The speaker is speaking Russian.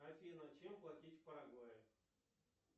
афина чем платить в парагвае